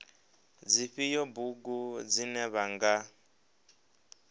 dzifhio bugu dzine vha nga